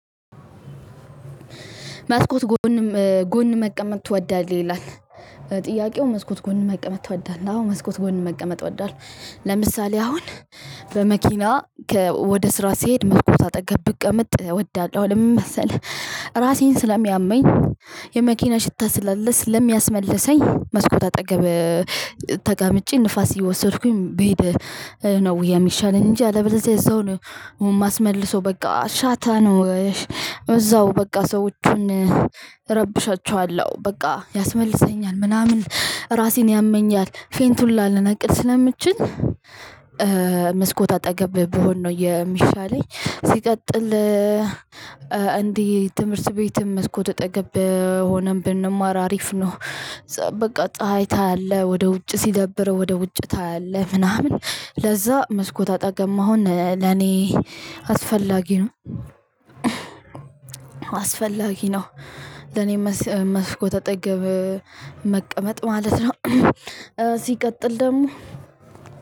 መስኮት ጎን ጎን መቀመጥ ትወዳለህ ይላል? ጥያቄው መስኮት ጎን መቀመጥ ትወዳለህ አዎ መስኮት ጎን መቀመጥ ወዳለው ለምሳሌ አሁን በመኪና ወደ ስራ ሲሄድ መስኮት አጠገብ ብቀመጥ እወዳለሁ ለምን መሰለህ? ራሴን ስለሚያመኝ የመኪና ሽታ ስላለ ስለሚያስመልሰኝ መስኮት አጠገብ ተቀምጬ ንፋስ እየወሰድኩኝ ብሄድ ነው የሚሻለኝ እንጂ አለበለዚያ እዛው ነው የማስመልሰው በቃ ሻታ ነው። እዛው በቃ ሰዎችን እረብሻቸዋለሁ በቃ ያስመልሰኛል ምናምን ራሴን ያመኛል ፌንት ሁላ ልነቅል ስለምችል። መስኮት አጠገብ ብሆን ነው የሚሻለኝ ሲቀጥል። እንዲህ ትምህርት ቤትም መስኮት አጠገብ ሆነን ብንማር አሪፍ ነው። በቃ ፀሀይ ታያለህ ወደ ውጭ ሲደብር ወደ ውጭ ታያለህ ምናምን ለዛ መስኮት አጠገብ መሆን ለኔ አስፈላጊ ነው። አስፈላጊ ነው። ለኔ መስኮት አጠገብ መቀመጥ ማለት ነው። ሲቀጥል ደግሞ